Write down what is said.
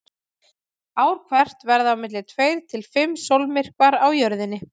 Ár hvert verða á milli tveir til fimm sólmyrkvar á Jörðinni.